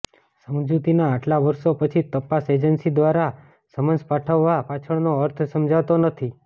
સમજૂતીના આટલા વર્ષો પછી તપાસ એજન્સી દ્વારા સમન્સ પાઠવવા પાછળનો અર્થ સમજાતો નથી